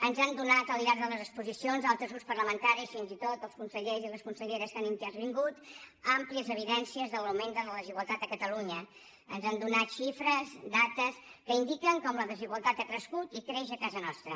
ens han donat al llarg de les exposicions altres grups parlamentaris fins i tot els consellers i les conselleres que han intervingut àmplies evidències de l’augment de la desigualtat a catalunya ens han donat xifres dades que indiquen com la desigualtat ha crescut i creix a casa nostra